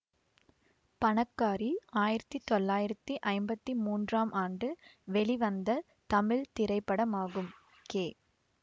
பணக்காரி ஆயிரத்தி தொள்ளாயிரத்தி ஐம்பத்தி மூன்றாம் ஆண்டு வெளிவந்த தமிழ் திரைப்படமாகும் கே